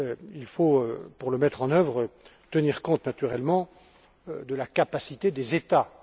Il faut, pour le mettre en œuvre, tenir compte naturellement de la capacité des États.